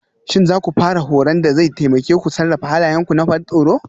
Shin za ku fara horon da zai taimake ku sarrafa halayenku na ban tsoro?